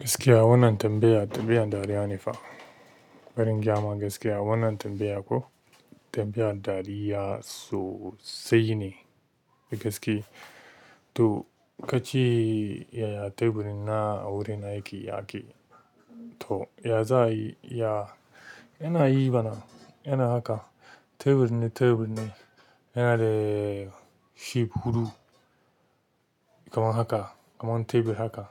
Gaskiya wannan tambaya, tambayar dariya ne fa. Bari ingayama gaskiya wannan tambaya ko tambayar dariya sosai ne da gaske. To kace ya teburi na a gurin aiki yake to ya za a yi ya? Yana yi mana irin haka tebur ne tebur ne yana da shape huɗu kaman haka kaman tebur haka